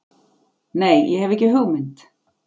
Nei, ég hef ekki hugmynd.